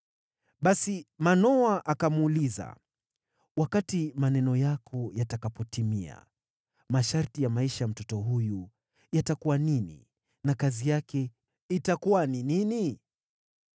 Basi Manoa akamuuliza, “Wakati maneno yako yatakapotimia, masharti ya maisha ya mtoto huyu yatakuwa nini na kazi yake itakuwa ni nini?”